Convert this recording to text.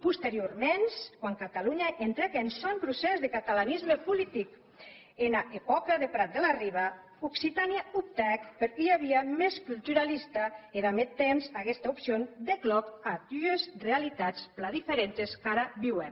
posterioraments quan catalonha entrèc en sòn procès de catalanisme politic ena epòca de prat de la riba occitània optèc per ua via mès culturalista e damb eth temps aguesta opcion dèc lòc a dues realitats plan diferentes qu’ara viuem